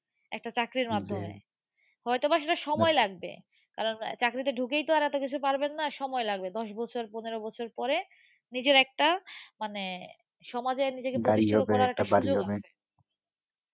একটা চাকরির মাধ্যমে। হয়তো বা সেটা সময় লাগবে। কারণ চাকরিতে ঢুকেই তো আর এতো কিছু পারবেন না, সময় লাগবে। দশ বছর পনেরো বছর পরে, নিজের একটা, মানে সমাজে নিজেকে প্রতিষ্ঠিত করার একটা সুযোগ আসে।